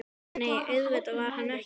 En nei, auðvitað var hann ekki fallinn.